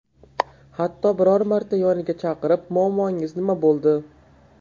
Hatto biror marta yoniga chaqirib, muammongiz nima bo‘ldi?